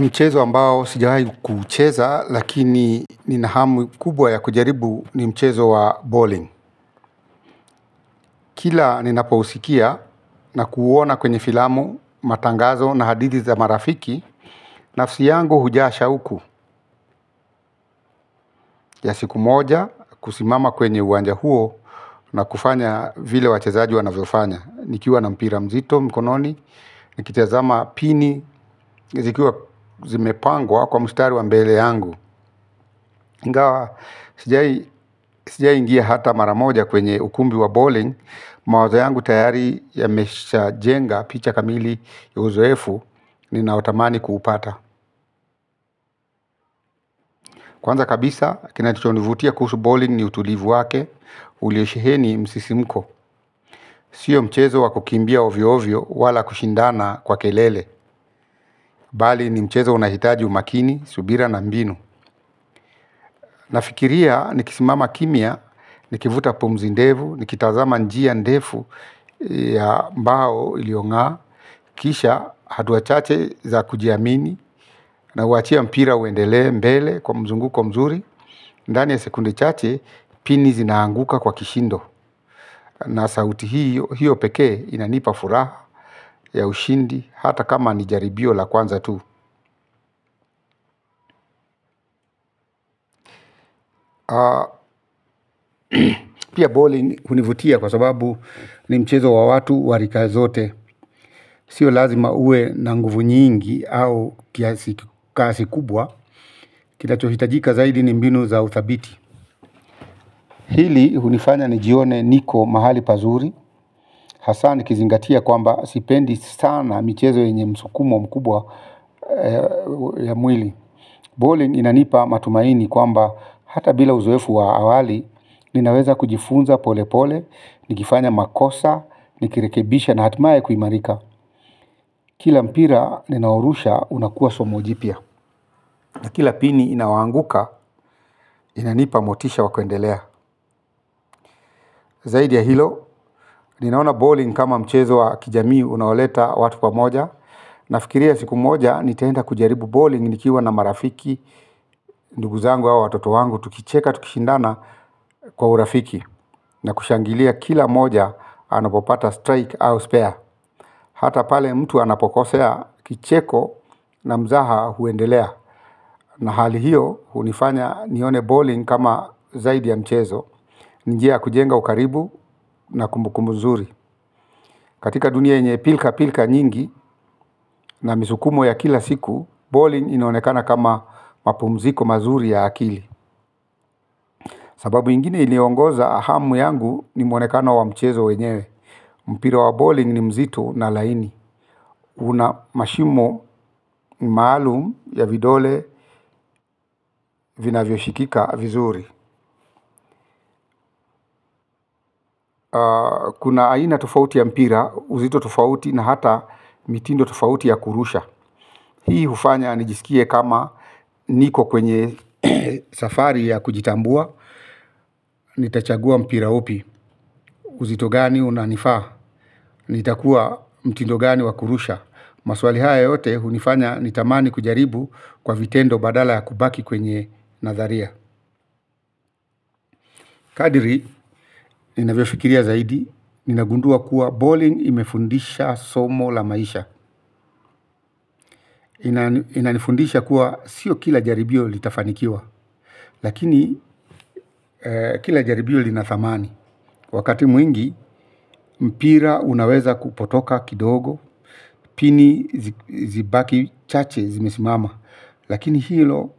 Mchezo ambao sijawahi kuucheza, lakini nina hamu kubwa ya kujaribu ni mchezo wa bawling. Kila ninapousikia na kuuona kwenye filamu matangazo na hadithi za marafiki, nafsi yangu hujaa shauku ya siku moja kusimama kwenye uwanja huo na kufanya vile wachezaji wanavyofanya. Nikiwa na mpira mzito mkononi, nikitazama pini, zikiwa zimepangwa kwa mustari wa mbele yangu. Ingawa, sijai ingia hata mara moja kwenye ukumbi wa bowling, mawazo yangu tayari yameshajenga picha kamili ya uzoefu ninaotamani kuupata. Kwanza kabisa, kinachonivutia kuhusu bowling ni utulivu wake, ulio sheheni msisimko. Sio mchezo wa kukimbia ovyovyo wala kushindana kwa kelele. Bali ni mchezo unahitaji umakini, subira na mbinu. Nafikiria nikisimama kimya, nikivuta pumzi ndefu, nikitazama njia ndefu ya mbao iliongaa. Kisha hatua chache za kujiamini na huachia mpira uendelee mbele kwa mzunguko mzuri. Ndani ya sekunde chache pini zinaanguka kwa kishindo. Na sauti hiyo pekee inanipa furaha ya ushindi hata kama ni jaribio la kwanza tu. Pia bowling hunivutia kwa sababu ni mchezo wa watu wa rika zote. Sio lazima uwe na nguvu nyingi au kiasi kasi kubwa. Kinachohitajika zaidi ni mbinu za uthabiti. Hili hunifanya nijione niko mahali pazuri. Hasaa nikizingatia kwamba sipendi sana michezo yenye msukumo mkubwa ya mwili Bowling inanipa matumaini kwamba hata bila uzoefu wa awali. Ninaweza kujifunza pole pole, nikifanya makosa, nikirekebisha na hatimaye kuimarika. Kila mpira ninaorusha unakuwa somo jipya. Na kila pini inawaanguka, inanipa motisha wa kuendelea. Zaidi ya hilo, ninaona bowling kama mchezo wa kijamii unaoleta watu pamoja. Nafikiria siku moja, nitaenda kujaribu bowling nikiwa na marafiki. Ndugu zangu au watoto wangu, tukicheka, tukishindana kwa urafiki na kushangilia kila moja anapopata strike au spare. Hata pale mtu anapokosea kicheko na mzaha huendelea. Na hali hiyo hunifanya nione bowling kama zaidi ya mchezo. Ni njia ya kujenga ukaribu na kumbukumbu zuri katika dunia yenye pilka pilka nyingi na misukumo ya kila siku bowling inaonekana kama mapumziko mazuri ya akili. Sababu ingine iliongoza hamu yangu ni mwonekano wa mchezo wenyewe. Mpira wa bowling ni mzito na laini. Una mashimo maalum ya vidole vinavyoshikika vizuri. Kuna aina tofauti ya mpira, uzito tofauti na hata mitindo tofauti ya kurusha. Hii hufanya nijisikie kama niko kwenye safari ya kujitambua. Nitachagua mpira upi. Uzito gani unanifaa? Nitakua mtindo gani wa kurusha? Maswali haya yote hunifanya nitamani kujaribu kwa vitendo badala ya kubaki kwenye natharia. Kadiri, ninavyofikiria zaidi, ninagundua kuwa bowling imefundisha somo la maisha. Inanifundisha kuwa sio kila jaribio litafanikiwa, lakini kila jaribio lina thamani. Wakati mwingi, mpira unaweza kupotoka kidogo, pini zibaki chache zimesimama. Lakini hilo